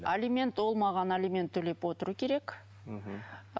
алимент ол маған алимент төлеп отыру керек мхм